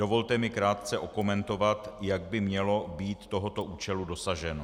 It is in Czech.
Dovolte mi krátce okomentovat, jak by mělo být tohoto účelu dosaženo.